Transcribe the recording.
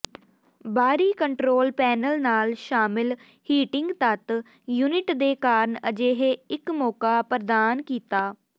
ਬਾਹਰੀ control panel ਨਾਲ ਸ਼ਾਮਿਲ ਹੀਟਿੰਗ ਤੱਤ ਯੂਨਿਟ ਦੇ ਕਾਰਨ ਅਜਿਹੇ ਇੱਕ ਮੌਕਾ ਪ੍ਰਦਾਨ ਕੀਤਾ